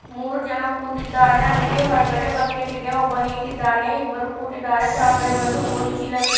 ಮೂರು ಜನ ಕೂತಿದ್ದಾರೆ ಅಂಗಡಿ ಹೊರಗಡೆ ಬಕೆಟ್ ಇದೆ ಒಬ್ಬ ನಿಂತಿದ್ದಾನೆ ಇಬ್ಬರೂ ಕೂತಿದ್ದಾರೆ ತೆಳಗಡೆ ಒಂದು ಗೋಣಿಚೀಲವಿದೆ.